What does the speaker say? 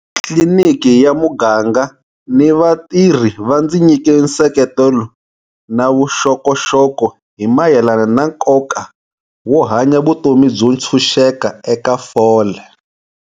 Tliliniki ya muganga na vatirhi va ndzi nyike nseketelo na vuxokoxoko hi mayelana na nkoka wo hanya vutomi byo tshunxeka eka fole.